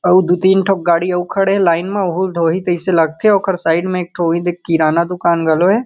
अउ दू तीन ठो गाड़ी अउ खड़े हे लाइन म ओहुला धोहि तइसे लागथे ओकर साइड म एक ठो ओहीदे किराना दुकान घलो हे।